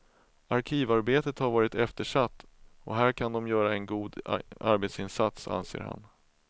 Arkivarbetet har varit eftersatt och här kan de göra en god arbetsinsats, anser han.